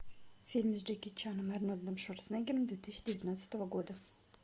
фильм с джеки чаном и арнольдом шварценеггером две тысячи девятнадцатого года